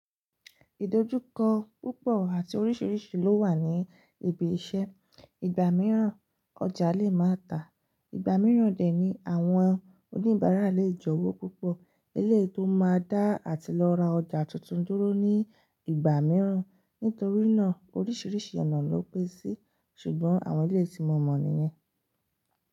Ìdójúkọ púpọ̀ àti oríṣiríṣi ló wà ní ibi iṣẹ́. Ìgbà mìíràn ọjà lè máa tà, ìgbà mìíràn dẹ ní àwọn oníbàárà lè jẹ owo pupọ. Ilé tó máa dá àti lọ ra ọjà tuntun dúró ní ìgbà mìíràn. Nítorí náà oríṣiríṣi ọ̀nà ló pé sí i ṣùgbọ́n àwọn eleyi tí mo mọ̀ nìyẹn.